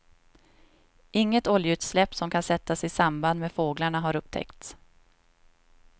Inget oljeutsläpp som kan sättas i samband med fåglarna har upptäckts.